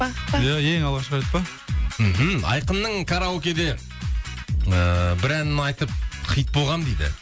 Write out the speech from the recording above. пах пах ия ең алғашқы рет па мхм айқынның караокеде ыыы бір әнін айтып хит болғанмын дейді